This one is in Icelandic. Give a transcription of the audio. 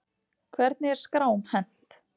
Hvernig er skrám hent?